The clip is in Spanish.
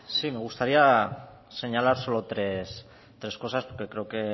zurea da hitza sí me gustaría señalar solo tres cosas porque creo que